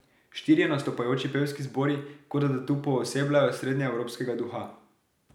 Štirje nastopajoči pevski zbori kot da tu poosebljajo srednjeevropskega duha.